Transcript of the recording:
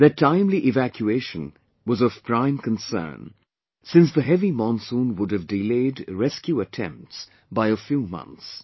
Their timely evacuation was of a prime concern, since the heavy monsoon would have delayed rescueattempts by a few months